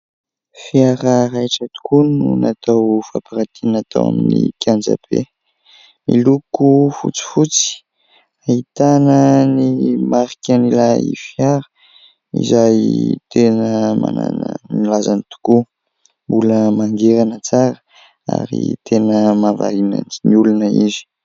Fiara raitra tokoa no natao fampiratiana tao amin'ny kianja be miloko fotsifotsy, ahitana ny marik'ilay fiara, izay tena manana ny lazany tokoa; mbola mangirana tsara ary tena mahavariana ny olona izy.